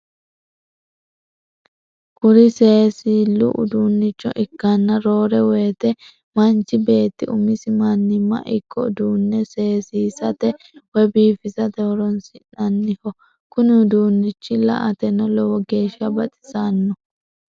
Kuri seesillu udunnicho ikkanna roore woyite manchi beetti umisi mannimma ikko uduunne seesisate woy biifisate horonsi'nannoho. Kuni udunnichi la"ateno lowo geeshsa baxissanno.